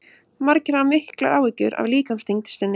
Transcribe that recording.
margir hafa miklar áhyggjur af líkamsþyngd sinni